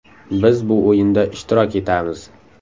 Biz bu o‘yinda ishtirok etamiz.